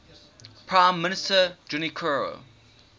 prime minister junichiro